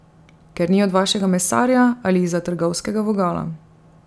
Ker ni od vašega mesarja ali izza trgovskega vogala.